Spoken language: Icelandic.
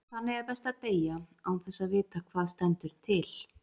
Þannig er best að deyja, án þess að vita hvað stendur til.